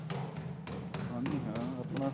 ਹਾਂਜੀ ਹਾਂ ਆਪਣਾ